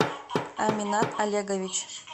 аминат олегович